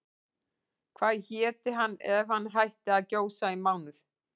Hvað héti hann ef hann hætti að gjósa í mánuð?